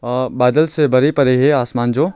अ बादल से भरे परे है आसमान जो।